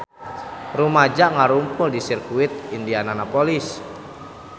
Rumaja ngarumpul di Sirkuit Indianapolis